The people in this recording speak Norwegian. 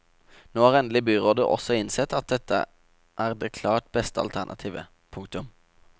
Nå har endelig byrådet også innsett at dette er det klart beste alternativet. punktum